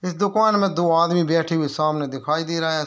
इस दुकान में दो आदमी बैठे हुए सामने दिखाई दे रहें।